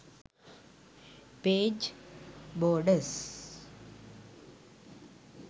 page borders